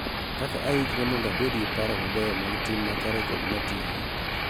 Kaka ayikre mondo abed gi paro mabeyo mag tim makare kod matiyo